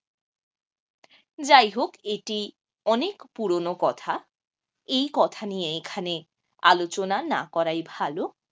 যাই হোক এটি অনেক পুরনো কথা এই কথা নিয়ে এখানে আলোচনা না করাই ভালো।